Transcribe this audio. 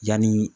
Yanni